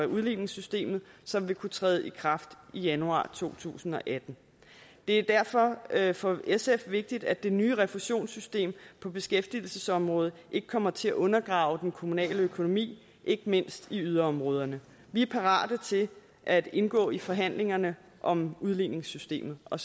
udligningssystemet som vil kunne træde i kraft i januar to tusind og atten derfor er det for sf vigtigt at det nye refusionssystem på beskæftigelsesområdet ikke kommer til at undergrave den kommunale økonomi ikke mindst i yderområderne vi er parate til at indgå i forhandlingerne om udligningssystemet og